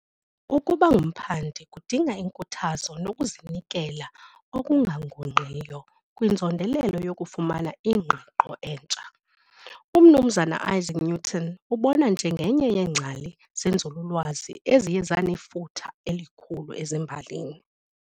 Ukuba ngumphandi kudinga inkuthazo nokuzinikela okungagungqiyo kwinzondelelo yokufumana ingqiqo entsha. UMnumzana Isaac Newton ubonwa njengenye yeengcali zenzululwazi eziye zanefuthe elikhulu ezimbalini.